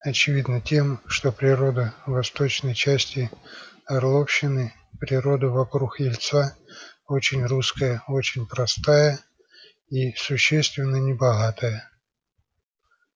очевидно тем что природа восточной части орловщины природа вокруг ельца очень русская очень простая и существенно небогатая